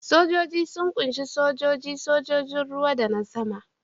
Sojoji sun ƙunshi sojoji, sojojin ruwa da na sama.